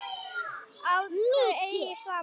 Að þau eigi saman.